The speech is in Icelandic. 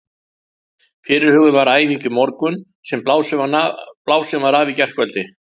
Fyrirhuguð var æfing í morgun sem blásin var af í gærkvöldi.